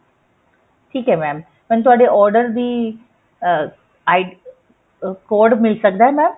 ਠੀਕ ਹੈ mam ਮੈਨੂੰ ਤੁਹਾਡੇ order ਦੀ ਅਹ ID ਅਹ code ਮਿਲ ਸਕਦਾ ਹੈ mam